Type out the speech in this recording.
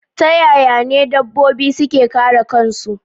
Ta yaya n edabbobi suke kare kansu